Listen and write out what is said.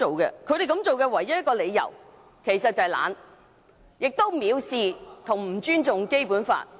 其實他們這樣做的唯一理由是懶惰，做法亦藐視和不尊重《基本法》。